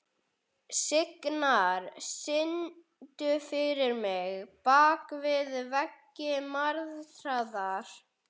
Signar, syngdu fyrir mig „Bak við veggi martraðar“.